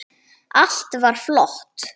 Allt var flott.